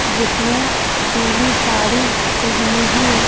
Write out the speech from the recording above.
जिसने पीली साड़ी पहनी है।